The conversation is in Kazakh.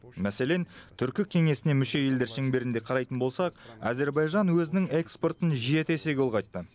мәселен түркі кеңесіне мүше елдер шеңберінде қарайтын болсақ әзербайжан өзінің экспортын жеті есеге ұлғайтты